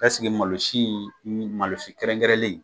K'ɛseke malo si in nin malo si kɛrɛnkɛrɛnlen